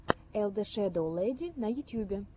эл дэ шэдоу лэди на ютьюбе